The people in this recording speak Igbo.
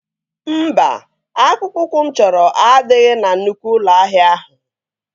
Mba, akpụkpọ ụkwụ mụ chọrọ adịghị na nnukwu ụlọ ahịa ahụ